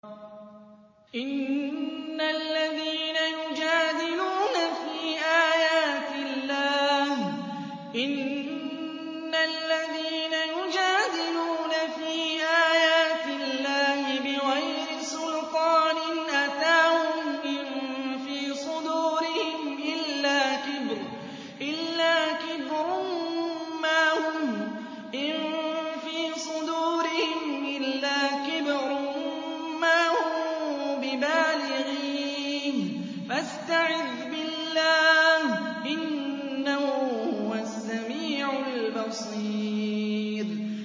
إِنَّ الَّذِينَ يُجَادِلُونَ فِي آيَاتِ اللَّهِ بِغَيْرِ سُلْطَانٍ أَتَاهُمْ ۙ إِن فِي صُدُورِهِمْ إِلَّا كِبْرٌ مَّا هُم بِبَالِغِيهِ ۚ فَاسْتَعِذْ بِاللَّهِ ۖ إِنَّهُ هُوَ السَّمِيعُ الْبَصِيرُ